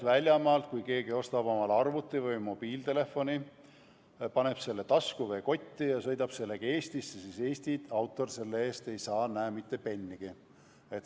Ma kardan, et kui keegi ostab omale väljamaalt arvuti või mobiiltelefoni, paneb selle tasku või kotti ja sõidab sellega Eestisse, siis Eesti autor ei saa sellest mitte pennigi.